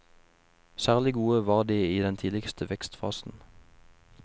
Særlig gode var de i den tidligste vekstfasen.